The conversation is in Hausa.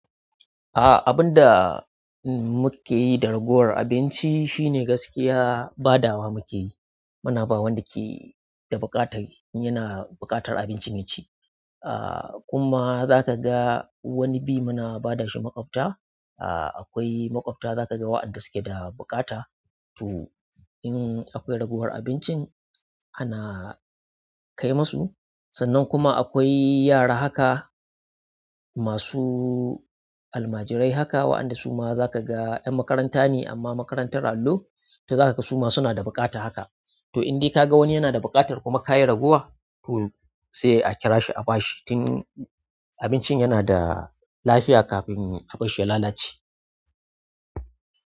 Ah abinda mukeyi da ragowar abinci shine gaskiya badawa muke yi. Muna ba wanda ke da buƙatar in yana buƙatar abinci ya ci. Ah kuma za ka ga wani bi muna ba da shi maƙwabta. Ah akwai maƙwabta za ka ga waɗanda suke da buƙata. To, in akwai ragowar abincin ana kai musu sannan kuma akwai yara haka masu almajirai haka waɗanda zaka ga 'yan makaranta ne amma makarantar allo to zaka ga suma suna da bukata to in dai ka ga wani yana da buƙatar kuma ka yi ragowa, to sai a kira shi a ba shi tun abincin yana da lafiya kafin a bar shi ya lalace.